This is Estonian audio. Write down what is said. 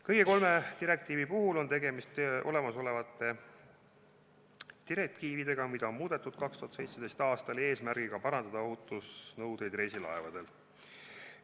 Kõik kolm on olemasolevad direktiivid, mida on muudetud 2017. aastal eesmärgiga parandada ohutusnõudeid reisilaevadel.